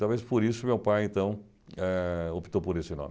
Talvez por isso meu pai, então, eh optou por esse nome.